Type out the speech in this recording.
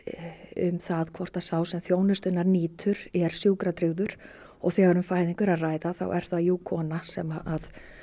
um það hvort sá sem þjónustunnar nýtur er sjúkratryggður og þegar um fæðingu er að ræða er það jú kona sem